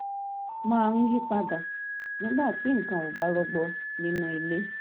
máa ń yí pa dà nígbà tí nǹkan ò bá rọgbọ nínú ìdílé